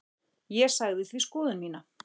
Ég sagði því skoðun mína.